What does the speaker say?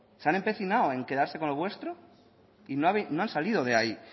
se han empecinado en quedarse con lo vuestro y no han salido de ahí